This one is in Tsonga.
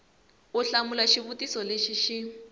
u hlamula xivutiso lexi xi